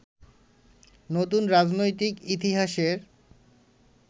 নতুন রাজনৈতিক ইতিহাসের